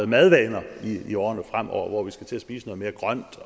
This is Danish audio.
madvaner i årene fremover og skal til at spise noget mere grønt